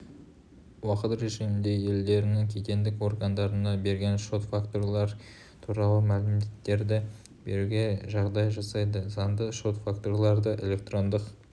уақыт режимінде елдерінің кедендік органдарына берген шот-фактуралар туралы мәліметтерді беруге жағдай жасайды заңда шот-фактураларды электрондық